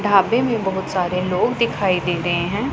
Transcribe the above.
ढाबे में बहुत सारे लोग दिखाई दे रहे हैं।